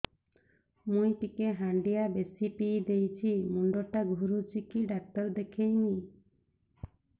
ମୁଇ ଟିକେ ହାଣ୍ଡିଆ ବେଶି ପିଇ ଦେଇଛି ମୁଣ୍ଡ ଟା ଘୁରୁଚି କି ଡାକ୍ତର ଦେଖେଇମି